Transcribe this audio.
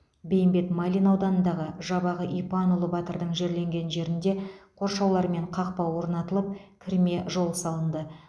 бейімбет майлин ауданындағы жабағы ипанұлы батырдың жерленген жеріне қоршаулар мен қақпа орнатылып кірме жол салынды